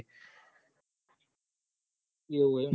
એવું હ ઇ મ